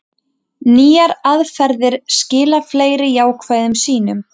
Nýjar aðferðir skila fleiri jákvæðum sýnum